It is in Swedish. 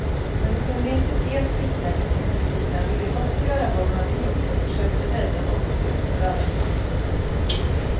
Han kunde inte se att flickan i sin förtvivlan ville gottgöra vad hon hade gjort och försökte rädda något ur förödelsen.